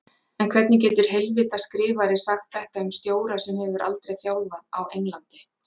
En hvernig getur heilvita skrifari sagt þetta um stjóra sem hefur aldrei þjálfað á Englandi?